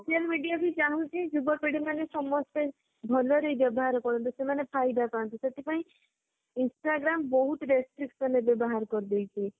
social media ବି ଚାହୁଁଛି ଯୁବପିଢୀ ମାନେ ସମସ୍ତେ ଭଲରେ ବ୍ୟବହାର କରନ୍ତୁ ସେମାନେ ଫାଇଦା ପାନ୍ତୁ ସେଥିପାଇଁ instagram ବହୁତ restriction ଏବେ ବାହାର କରିଦେଇଛି